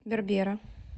бербера